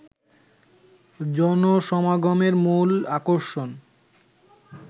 জনসমাগমের মূল আকর্ষণ